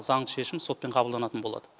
заңды шешім сотпен қабылданатын болады